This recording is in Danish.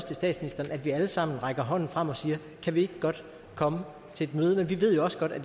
til statsministeren at vi alle sammen rækker hånden frem og siger kan vi ikke godt komme til et møde men vi ved jo også godt at